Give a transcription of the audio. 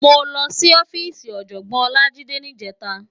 Mó lòsí òfisí Òjògbòn Olajide nijètá